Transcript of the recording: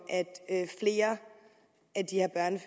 at flere